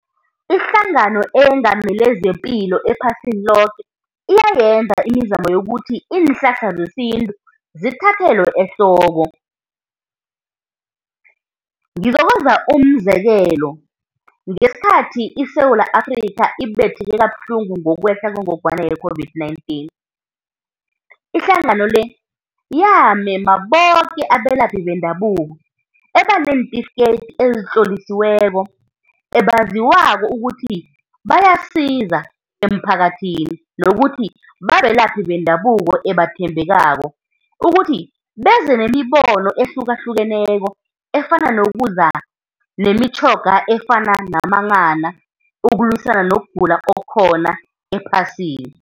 IHlangano eyeNgamele zePilo ePhasini Loke iyayenza imizamo yokuthi iinhlahla zesintu zithathelwe ehloko. Ngizokwenza umzekelo, ngesikhathi iSewula Afrikha ibetheke kabuhlungu ngokwehla kwengogwana ye-COVID-19, Ihlangano le yamema boke abelaphi bendabuko ebaneentifiketi ezitlolisiweko, ebaziwako ukuthi bayasiza emphakathini, nokuthi babelaphi bendabuko ebathembekako ukuthi beze nemibono ehlukahlukeneko efana nokuza nemitjhoga efana namanghana ukulwisana nokugula okukhona ephasini.